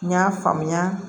N y'a faamuya